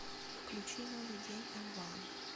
включи новый день элван